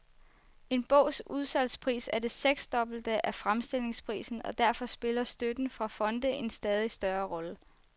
En bogs udsalgspris er det seksdobbelte af fremstillingsprisen, og derfor spiller støtten fra fonde en stadig større rolle.